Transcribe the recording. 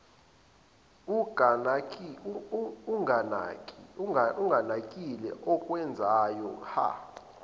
unganakile okwenzayo hha